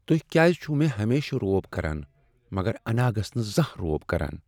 تُہۍ کیٛاز چھو ہمیشہٕ مےٚ روب كران مگر اناگھس نہٕ زانٛہہ روب كران ؟